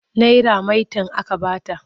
Naira maitan aka ba ta.